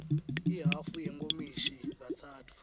ihhafu yenkomishi katsatfu